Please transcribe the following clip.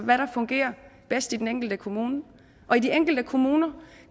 hvad der fungerer bedst i den enkelte kommune og i de enkelte kommuner